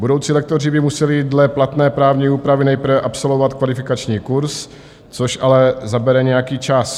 Budoucí lektoři by museli dle platné právní úpravy nejprve absolvovat kvalifikační kurz, což ale zabere nějaký čas.